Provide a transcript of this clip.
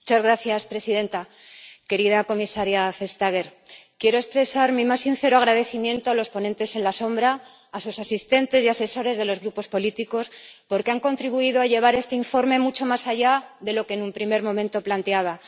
Señora presidenta, querida comisaria Vestager, quiero expresar mi más sincero agradecimiento a los ponentes alternativos, a sus asistentes y asesores de los grupos políticos, porque han contribuido a llevar este informe mucho más allá de lo que en un primer momento planteaba.